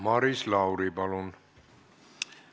Maris Lauri, palun!